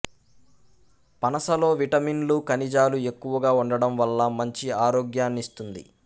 పనసలో విటమిన్లు ఖనిజాలు ఎక్కువగా ఉండడం వల్ల మంచి ఆరోగ్యాన్నిస్తుంది